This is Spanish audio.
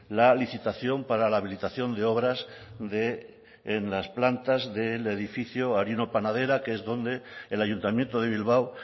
la licitación para la habilitación de obras en las plantas del edificio harino panadera que es donde el ayuntamiento de bilbao